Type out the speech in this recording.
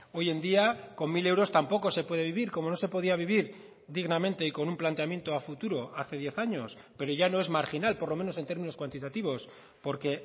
hoy en día con mil euros tampoco se puede vivir como no se podía vivir dignamente y con un planteamiento a futuro hace diez años pero ya no es marginal por lo menos en términos cuantitativos porque